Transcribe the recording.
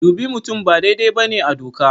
Dubi mutum ba daidai ba ne a doka.